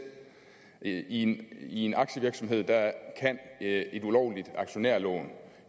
i en i en aktievirksomhed kan et ulovligt aktionærlån